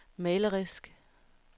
malerisk